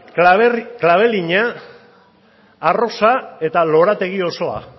klabelina arrosa eta lorategi osoa